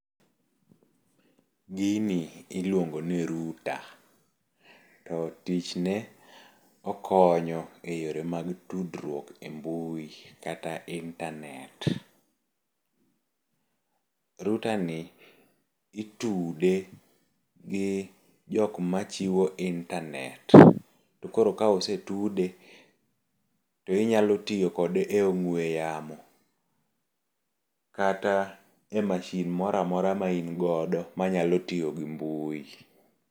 Gini iluongo ni router to tichne okonyo eyore mag tudruok e mbui kata intanet. Router ni itude gi jok ma chiwo intanet. To koro ka osetude, to inyalo tiyo kode e ong'we yamo kata e masin mora mora ma in godo manyalo tiyo gi mbui.